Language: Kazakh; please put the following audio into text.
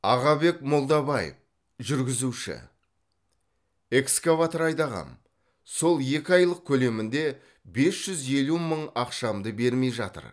ағабек молдабаев жүргізуші экскаватор айдағам сол екі айлық көлемінде жес жүз елу мың ақшамды бермей жатыр